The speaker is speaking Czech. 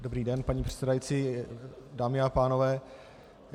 Dobrý den, paní předsedající, dámy a pánové.